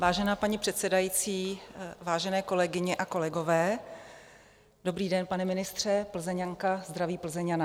Vážená paní předsedající, vážené kolegyně a kolegové, dobrý den, pane ministře, Plzeňanka zdraví Plzeňana.